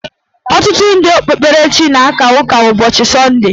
Ọtụtụ ndị okpukperechi Kraịst na-aka ụka ụbọchị sọnde.